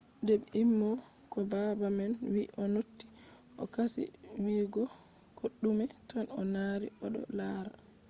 de ɓe emimo ko baba man wii o noti o kasi wiyugo koɗume tan o dari oɗo laara.